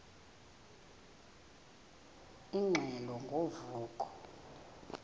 ingxelo ngo vuko